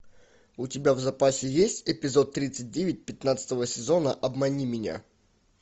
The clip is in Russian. у тебя в запасе есть эпизод тридцать девять пятнадцатого сезона обмани меня